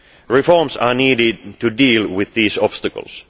Reforms are needed to deal with these obstacles.